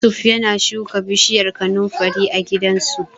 Yusuf yana shuka bishiyar kanunfari a gidansu.